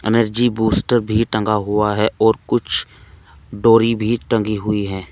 Energy booster भी टंगा हुआ है और कुछ डोरी भी टंगी हुई है।